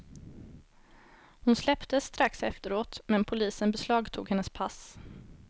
Hon släpptes strax efteråt men polisen beslagtog hennes pass.